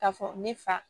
Ka fɔ ne fa